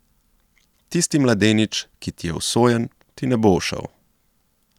Tisti mladenič, ki ti je usojen, ti ne bo ušel.